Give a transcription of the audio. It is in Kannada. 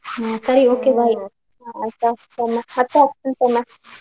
ಸರಿ okay bye phone ಮತ್ತೆ ಹಚ್ತಿನಿ ಸೌಮ್ಯ.